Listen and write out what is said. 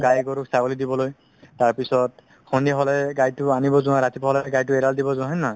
গাই গৰু ছাগলি দিবলৈ তাৰপিছত সন্ধিয়া হলে গাইটো আনিব যোৱা ৰাতিপুৱা হলে গাইটো অৰাল দিব যোৱা হয় নে নহয়